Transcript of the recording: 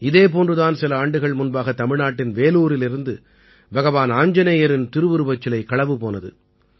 இதே போன்று தான் சில ஆண்டுகள் முன்பாக தமிழ்நாட்டின் வேலூரிலிருந்து பகவான் ஆஞ்ஜநேயரின் திருவுருவச் சிலை களவு போனது